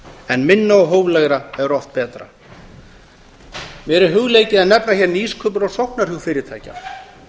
en minna og hóflegra er oft betra mér er hugleikið að nefna hér nýsköpun og sóknarhug fyrirtækja